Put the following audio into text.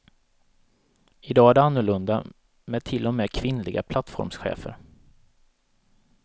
Idag är det annorlunda med till och med kvinnliga plattformschefer.